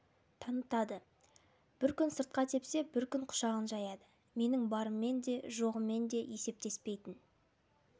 танытады бір күн сыртқа тепсе бір күн құшағын жаяды менің барыммен де жоғыммен де есептеспейтін